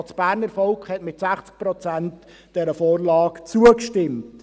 auch das Berner Volk hat dieser Vorlage mit 60 Prozent zugestimmt.